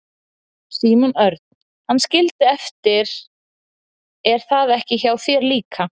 Símon Örn: Hann skildi eftir er það ekki hjá þér líka?